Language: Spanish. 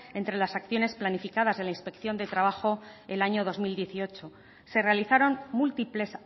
entre las acciones planificadas de la inspección de trabajo el año dos mil dieciocho se realizaron múltiples